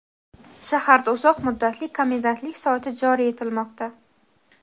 shaharda uzoq muddatli komendantlik soati joriy etilmoqda.